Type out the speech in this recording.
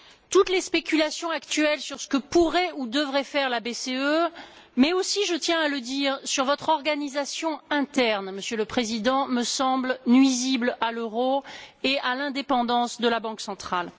Toutes les spéculations actuelles sur ce que pourrait ou devrait faire la BCE mais aussi je tiens à le dire sur votre organisation interne, Monsieur le Président, me semblent nuisibles à l'euro et à l'indépendance de la Banque centrale.